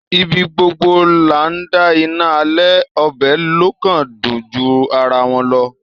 Ibi gbogbo là ńdá iná alẹ‌, ọbẹ‌ ló kàn dùn ju ara wọn lọ.